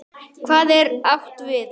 Hvað er átt við?